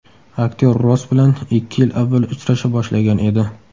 Aktyor Ross bilan ikki yil avval uchrasha boshlagan edi.